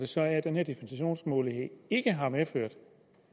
sådan at den her dispensationsmulighed ikke har medført